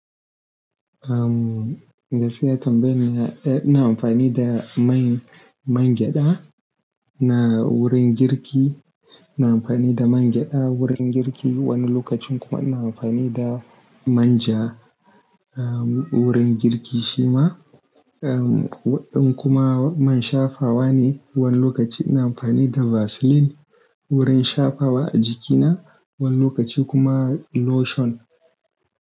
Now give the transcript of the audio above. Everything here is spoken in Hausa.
Am, gaskiya tambayin yana, eh ina amfani da mai, man gyada na wurin girki. Ina amfani da man gyada wurin girki, wani lokacin kuma ina amfani da manja, ah, wurin girki shi ma. Ah, in kuma man shafawa ne, wani lokaci ina amfani da Vaseline wurin shafawa a jikina, wani lokaci kuma lotion.